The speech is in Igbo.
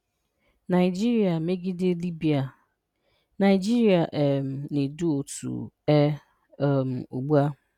Naịjịrị megide Libya:Naịjịrị um na-edu otu ''E'' um ụgbụ a